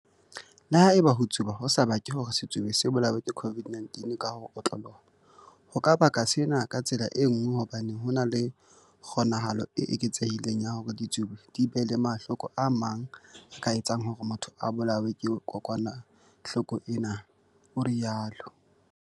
"Le haeba ho tsuba ho sa bake hore setsubi se bolawe ke COVID-19 ka ho otloloha, ho ka baka sena ka tsela e nngwe hobane ho na le kgo-nahalo e eketsehileng ya hore ditsubi di be le mahloko a mang a ka etsang hore motho a bolawe ke kokwanahloko ena," o rialo.